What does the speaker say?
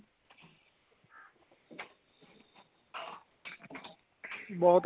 ਬਹੁਤ